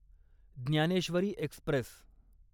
Dnyaneshwari Express